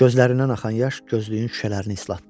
Gözlərindən axan yaş gözlüyün şüşələrini islatdı.